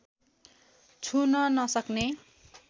छुन नसक्ने